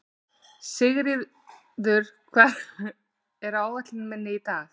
Sigríður, hvað er á áætluninni minni í dag?